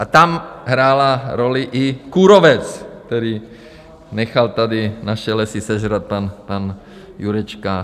A tam hrál roli i kůrovec, kdy nechal tady naše lesy sežrat pan Jurečka.